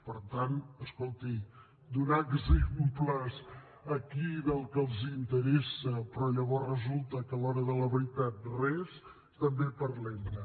per tant escolti donar exemples aquí del que els interessa però llavors resulta que a l’hora de la veritat res també parlem ne